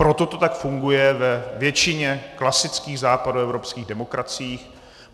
Proto to tak funguje ve většině klasických západoevropských demokracií.